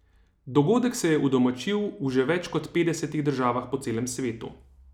Dogodek se je udomačil v že več kot petdesetih državah po celem svetu.